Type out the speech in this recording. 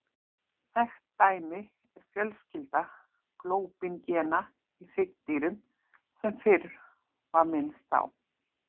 Þekkt dæmi er fjölskylda glóbín-gena í hryggdýrum sem fyrr var minnst á.